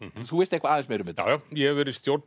þú veist eitthvað aðeins meira um þetta já já ég hef verið í stjórn